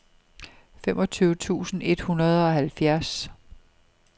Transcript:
femogtyve tusind et hundrede og halvfjerds